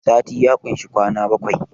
sati ya kushi kwana bakwai